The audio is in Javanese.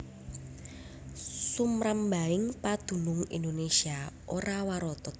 Sumrambahing padunung Indonésia ora warata